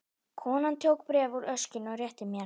Konan tók bréf úr öskjunni og rétti mér.